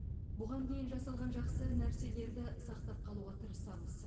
бұған дейін жасалған жақсы нәрселерді сақтап қалуға тырысамыз